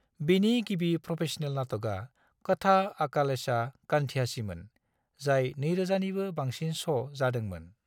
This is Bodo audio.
बिनि गिबि प्रफेशनेल नाटकआ कथा अकालेचा कांद्याचीमोन, जाय 2000 निबो बांसिन श' जादोंमोन।